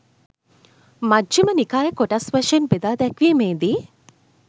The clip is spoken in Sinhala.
මජ්ඣිම නිකාය කොටස් වශයෙන් බෙදා දැක්වීමේදී